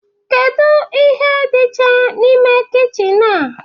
Kedu ihe dịcha n'ime kichin a?